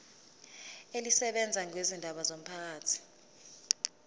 elisebenza ngezindaba zomphakathi